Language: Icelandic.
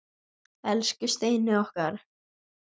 Elsku Steini okkar.